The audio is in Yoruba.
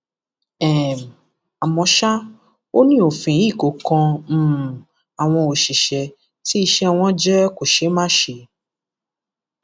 um àmọ ṣá ò ní òfin yìí kò kan um àwọn àwọn òṣìṣẹ tí iṣẹ wọn jẹ kòṣeémáṣe